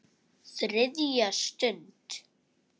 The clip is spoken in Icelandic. ÞRIÐJA STUND